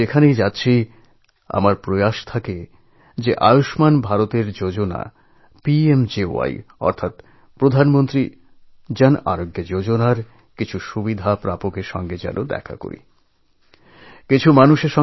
আজকাল আমি দেশের যে অঞ্চলেই যাই আয়ুষ্মান ভারত যোজনা পিএমজেয়া তথা পিএম জন আরোগ্য যোজনায় উপকৃত মানুষের সঙ্গে দেখা করতে চাই